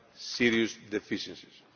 serious deficiencies